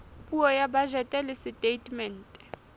puo ya bajete le setatemente